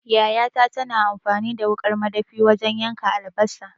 Yayata tana amfani da wuƙar madafi wajan yanka albasa